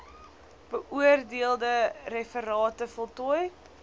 beoordeelde referate voltooi